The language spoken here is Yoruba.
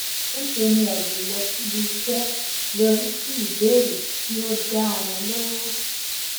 níṣe ni àìlè lọ síbi iṣẹ yọrí sí ìbéèrè tí ó dá ara lóró